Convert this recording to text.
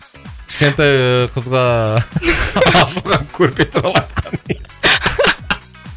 кішкентай ыыы қызға ыыы